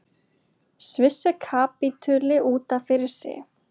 Sviss er kapítuli út af fyrir sig.